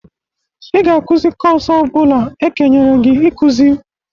Ị ga-akụzị kọs ọ bụla ekenyere gi ịkụzị!